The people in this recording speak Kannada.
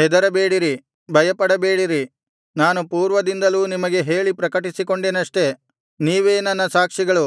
ಹೆದರಬೇಡಿರಿ ಭಯಪಡಬೇಡಿರಿ ನಾನು ಪೂರ್ವದಿಂದಲೂ ನಿಮಗೆ ಹೇಳಿ ಪ್ರಕಟಿಸಿಕೊಂಡೆನಷ್ಟೆ ನೀವೇ ನನ್ನ ಸಾಕ್ಷಿಗಳು